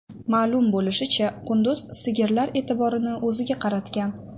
Ma’lum bo‘lishicha, qunduz sigirlar e’tiborini o‘ziga qaratgan.